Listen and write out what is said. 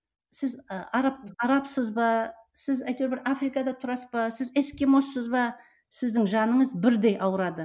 сіз ы араб арабсыз ба сіз әйтеуір бір африкада тұрасыз ба сіз эскимоссыз ба сіздің жаныңыз бірдей ауырады